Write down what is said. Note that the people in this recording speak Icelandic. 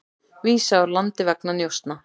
Vísað úr landi vegna njósna